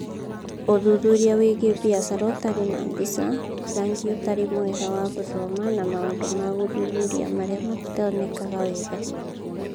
Ũthuthuria wĩgiĩ biacara ũtarĩ na mbica, rangi ũtarĩ mwega wa gũthoma na maũndũ ma gũthuthuria marĩa matonekaga wega.